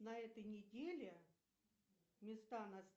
на этой неделе места